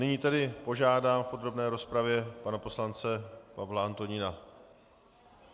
Nyní tedy požádám v podrobné rozpravě pana poslance Pavla Antonína.